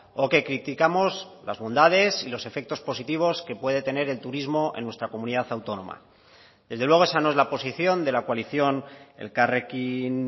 o que criticamos las bondades y los efectos positivos que puede tener el turismo en nuestra comunidad autónoma desde luego esa no es la posición de la coalición elkarrekin